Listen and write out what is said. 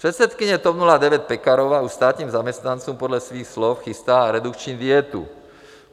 Předsedkyně TOP 09 Pekarová u státních zaměstnanců podle svých slov chystá redukční dietu.